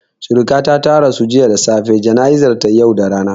Suriƙata ta rasu jiya da safe, jana'izan ta yau da rana